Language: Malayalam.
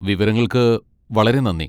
വിവരങ്ങൾക്ക് വളരെ നന്ദി.